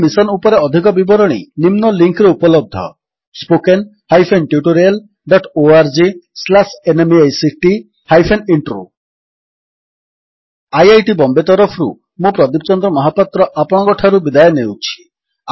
ଏହି ମିଶନ୍ ଉପରେ ଅଧିକ ବିବରଣୀ ନିମ୍ନ ଲିଙ୍କ୍ ରେ ଉପଲବ୍ଧ spoken hyphen tutorial dot O R G slash NMEICT hyphen intro spoken tutorialorgnmeict intro IIT Bombay ତରଫରୁ ମୁଁ ପ୍ରଦୀପ ଚନ୍ଦ୍ର ମହାପାତ୍ର ଆପଣଙ୍କଠାରୁ ବିଦାୟ ନେଉଛି